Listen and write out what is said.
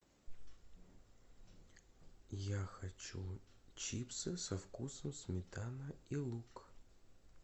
я хочу чипсы со вкусом сметана и лук